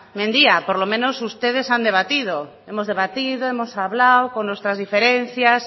mendia por lo menos ustedes han debatido hemos debatido hemos hablado con nuestras diferencias